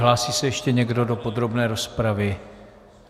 Hlásí se ještě někdo do podrobné rozpravy?